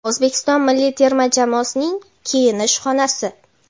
O‘zbekiston milliy terma jamoasining kiyinish xonasi.